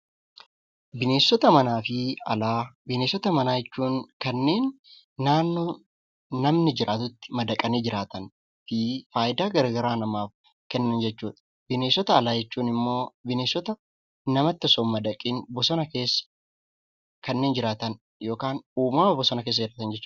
Bineensota manaa jechuun kanneen naannoo namni jiraatutti madaqanii jiraatan fi faayidaa garaa garaa namaaf kennan jechuudha. Bineensota alaa jechuun immoo bineensota namatti osoo hin madaqiin bosona keessa kanneen jiraatan yookaan uumama bosona keessa jiraatan jechuudha.